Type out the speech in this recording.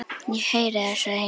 Ég heyri það, sagði Hilmar.